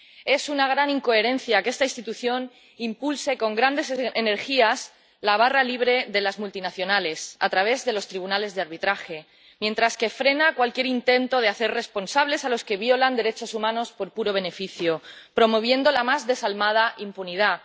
Es una gran incoherencia que esta institución impulse con grandes energías la barra libre de las multinacionales a través de los tribunales de arbitraje mientras frena cualquier intento de hacer responsables a los que violan derechos humanos por puro beneficio, promoviendo la más desalmada impunidad.